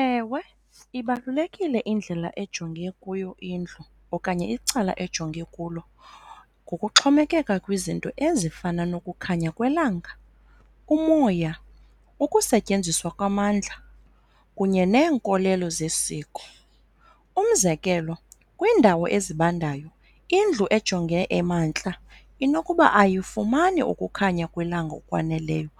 Ewe, ibalulekile indlela ejonge kuyo indlu okanye icala ejonge kulo ngokuxhomekeka kwizinto ezifana nokukhanya kwelanga, umoya, ukusetyenziswa kwamandla kunye neenkolelo zesiko. Umzekelo, kwiindawo ezibandayo indlu ejonge emantla inokuba ayifumani ukukhanya kwelanga okwaneleyo